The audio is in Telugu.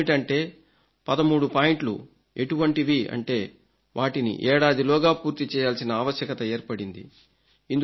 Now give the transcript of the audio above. అదేమిటంటే 13 పాయింట్లు ఎటువంటివి అంటే వాటిని ఏడాదిలోగా పూర్తి చేయాల్సిన ఆవశ్యకత ఏర్పడింది